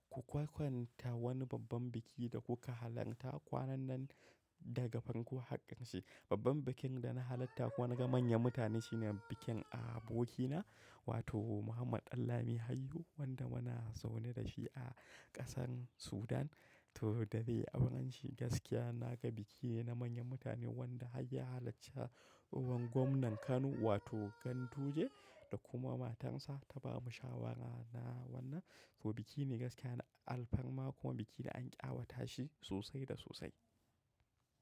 Ku kwakwanta wani babban biki da kuka halarta kwanan nan daga fankon hakkin shi. Babban bikin da na halatta ko na ga manyan mutane shine bikin abokina, wato Muhammad Danlami Hayyu wanda muna zaune dashi a kasar Sudan. To, da dai abunshi gaskiya naga biki na manyan mutane wanda har ya halacci wato gwamnan Kano wato Ganduje da kuma matarsa ta ba mu shawara na wannan. To, biki ne gaskiya na alfarma kuma biki da an ƙyawata shi sosai da sosai.